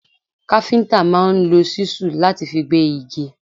Káfíntà máa ń lò ṣísù láti fi gbé igi.